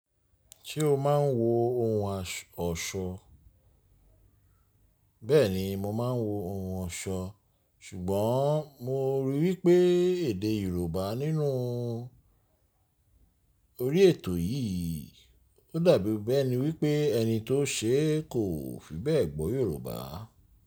Ṣé o máa ń wo ohun ọ̀ṣọ? Bẹ́ẹ̀ni mo máa ń wo ohun ọ̀ṣọ. Ṣùgbọ́n mo ríi wí pé èdè Yorùbá nínú orí ètò yìí, ó dàbí bẹ́ẹ̀ ni wí pé ẹni tó ṣe é kò fi bẹ́ẹ̀ gbọ́ Yorùbá.